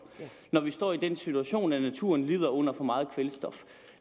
når vi står i den situation at naturen lider under for meget kvælstof